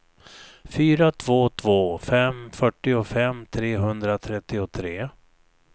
fyra två två fem fyrtiofem trehundratrettiotre